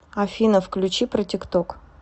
афина включи протикток